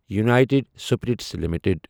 united Spirits limited